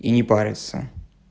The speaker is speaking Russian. и не париться